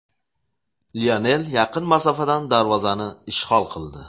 Lionel yaqin masofadan darvozani ishg‘ol qildi.